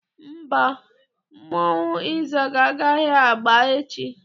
Mba, mmọnwụ ịzaga agaghị agba echi.